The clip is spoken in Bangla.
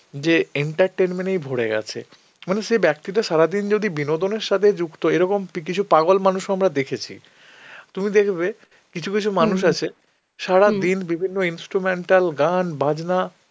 যে entertainment এই ভরে গেছে. মানে সেই ব্যক্তিটা সারাদিন যদি বিনোদনের সাথেই যুক্ত এরকম তুই কিছু পাগল মানুষও আমরা দেখেছি. তুমি দেখবে কিছু কিছু মানুষ আছে সারাদিন বিভিন্ন instrumental গান বাজনা